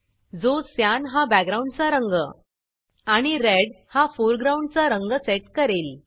जो क्यान हा बॅकग्राऊंडचा रंग आणि रेड हा फोरग्राऊंडचा रंग सेट करेल